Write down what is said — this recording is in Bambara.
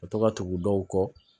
Ka to ka tugu dɔw kɔ